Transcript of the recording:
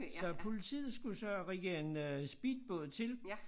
Så politiet skulle så rigge en øh speedbåd til